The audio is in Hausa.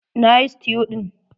Na yi stew ɗin.